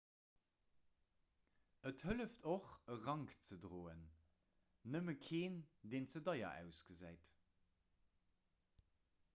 et hëlleft och e rank ze droen nëmme keen deen ze deier ausgesäit